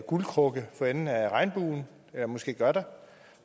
guldkrukke for enden af regnbuen eller måske gør der